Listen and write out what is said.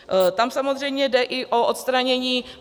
Tam samozřejmě jde i o odstranění...